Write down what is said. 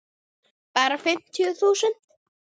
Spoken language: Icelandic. Bara fimmtíu þúsund.